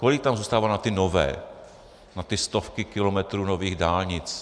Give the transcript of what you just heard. Kolik tam zůstává na ty nové, na ty stovky kilometrů nových dálnic?